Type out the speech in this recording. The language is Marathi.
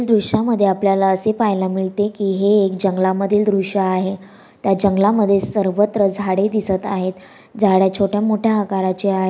दृश्या मध्ये आपल्याला असे पाहायला मिळते की हे एक जंगला मधील दृष्य आहे त्या जंगलामधील दृष्य आहे जंगलामध्ये सर्वत्र जाडे दिसत आहे झाडे छोट्या मोठया आकाराची आहे.